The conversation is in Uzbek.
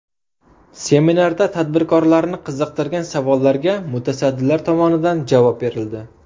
Seminarda tadbirkorlarni qiziqtirgan savollarga mutasaddilar tomonidan javob berildi.